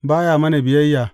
Ba ya mana biyayya.